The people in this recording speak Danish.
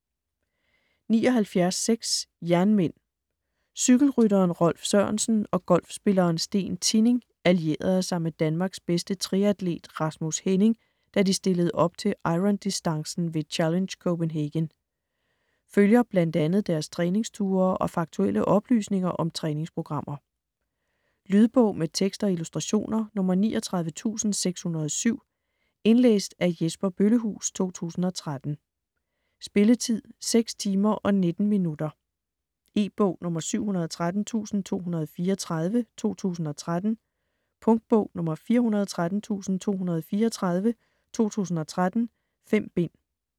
79.6 Jernmænd Cykelrytteren Rolf Sørensen og golfspilleren Steen Tinning allierede sig med Danmarks bedste triatlet Rasmus Henning, da de stillede op til irondistancen ved "Challenge Copenhagen". Følger bl.a. deres træningsture og faktuelle oplysninger om træningsprogrammer. Lydbog med tekst og illustrationer 39607 Indlæst af Jesper Bøllehuus, 2013. Spilletid: 6 timer, 19 minutter. E-bog 713234 2013. Punktbog 413234 2013. 5 bind.